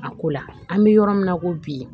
A ko la an bɛ yɔrɔ min na ko bi